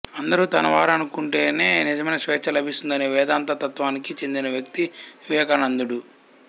అందరు తనవారనుకుంటేనే నిజమైన స్వేచ్ఛ లభిస్తుందనే వేదాంత తత్వానికి చెందిన వ్యక్తి వివేకానందుడు